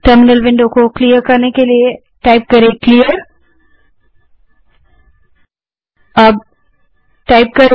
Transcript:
terminal window को clear करने के लिए क्लियर टाइप करें